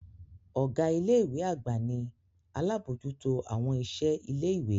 Ọga ile-iwe agba ni alabojuto awọn iṣẹ ile-iwe.